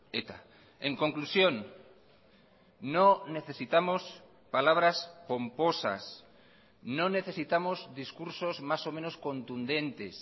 eta en conclusión no necesitamos palabras pomposas no necesitamos discursos más o menos contundentes